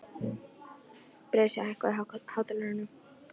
Bresi, hækkaðu í hátalaranum.